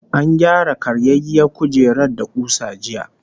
An gyara karyayyiyar kujerar da kusa daya